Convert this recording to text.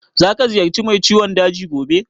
Za ka ziyarci mai ciwon daji gobe?